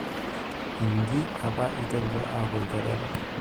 Inji apa eiterutua aaku ilchoreta.